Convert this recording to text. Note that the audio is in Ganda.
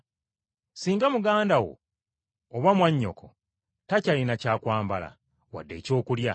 Singa muganda wo oba mwannyoko takyalina kyakwambala wadde ekyokulya,